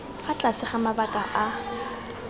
fa tlase ga mabaka a